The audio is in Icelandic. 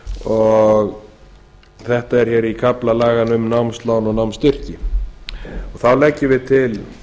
tilfelli þetta er hér í kafla laganna um námslán og námsstyrki þá leggjum við til